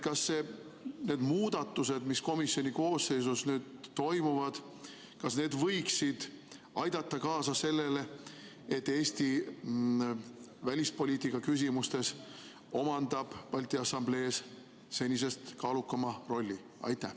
Kas need muudatused, mis komisjoni koosseisus nüüd toimuvad, võiksid aidata kaasa sellele, et Eesti omandab Balti Assamblees välispoliitika küsimustes senisest kaalukama rolli?